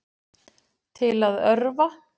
Til að örva